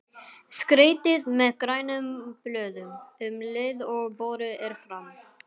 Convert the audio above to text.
Skreytið með grænum blöðum um leið og borið er fram.